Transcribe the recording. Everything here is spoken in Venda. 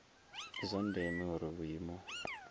ndi zwa ndeme uri vhuimo